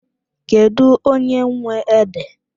Kedụ onye nwe ede?